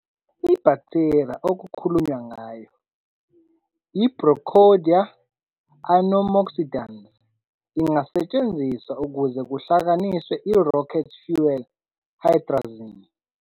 Ibhaktheriya okukhulunywa ngayo, i-Brocadia anammoxidans, ingasetshenziswa ukuze kuhlanganiswe i-rocket fuel hydrazine.